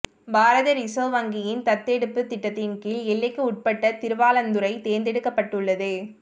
பாரத reserve வங்கியின் தத்தெடுப்புத் திட்டத்தின் கீழ் எல்லைக்குட்பட்ட திருவாளந்துரை தேர்ந்தெடுக்கப்பட்டுள்ளது